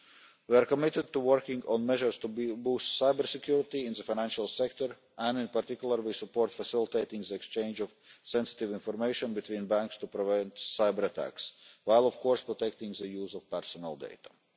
We are committed to working on measures to boost cyber security in the financial sector, and in particular we support facilitating the exchange of sensitive information between banks to prevent cyber attacks while, of course, protecting the use of personal data.